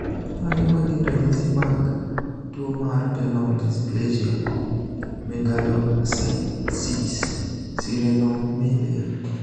Mage magin ranyisi mag tuo mar Renal dysplasia megalocystis sirenomelia?